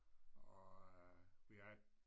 Og øh vi havde